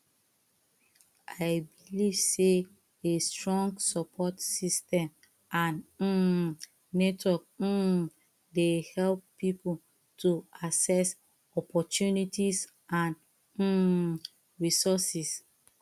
i believe say a strong support system and um network um dey help people to access opportunities and um resources